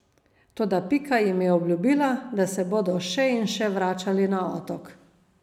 Toda Pika jim je obljubila, da se bodo še in še vračali na otok.